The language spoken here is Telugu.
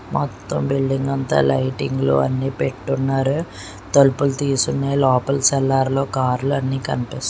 మొత్తం బిల్డింగ్ అంతా లైటింగ్ లో అన్ని పెట్టున్నారు తలుపులు తీసి ఉన్నాయి లోపల సెల్లార్లో కార్లన్నీ కనిపిస్తు.